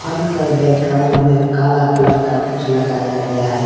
फल का बैकग्राउंड में काला कलर का कुछ लगाया गया है।